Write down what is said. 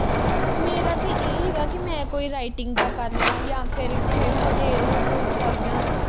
ਮੇਰਾ ਤੇ ਇਹ ਹੈਗਾ ਕਿ ਮੈਂ ਕੋਈ writing ਦਾ ਕਰਲਾ ਜਾਂ ਫਿਰ ਕਿਹੇ ਹੋਟੇਲ ਹੂਟੂਲ ਵਿਚ ਲੱਗ ਜਾ